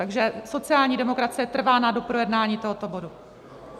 Takže sociální demokracie trvá na doprojednání tohoto bodu.